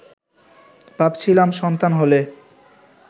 ভাবছিলাম সন্তান হলে